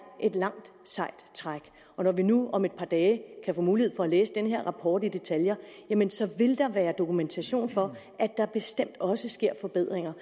et langt sejt træk når vi nu om et par dage kan få mulighed for at læse den her rapport i detaljer jamen så vil der være dokumentation for at der bestemt også sker forbedringer